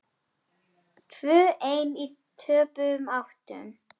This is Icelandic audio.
Tvö ein í töpuðum áttum.